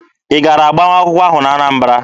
Ị gara agbamakwụkwọ ahụ n'Anambara?